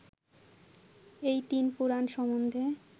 এই তিন পুরাণ সম্বন্ধে